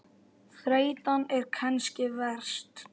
Þreytan er kannski verst.